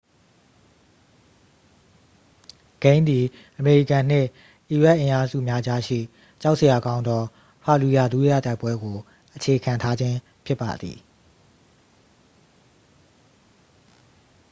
ဂိမ်းသည် အမေရိကန်နှင့် အီရတ်အင်အားစုများကြားရှိ ကြောက်စရာကောင်းသော ဖာလျူယာ ဒုတိယတိုက်ပွဲကို အခြေခံထားခြင်းဖြစ်ပါသည်